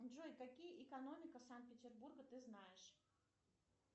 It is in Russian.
джой какие экономика санкт петербурга ты знаешь